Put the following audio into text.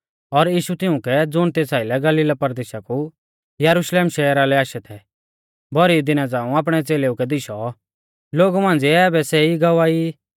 और यीशु तिउंकै ज़ुण तेस आइलै गलीला परदेशा कु यरुशलेम शहरा लै आशै थै भौरी दिना झ़ांऊ आपणै च़ेलेऊ कै दिशौ लोगु मांझ़िऐ आबै सै ई गवाह ई